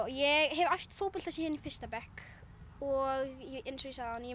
ég hef æft fótbolta síðan í fyrsta bekk og eins og ég sagði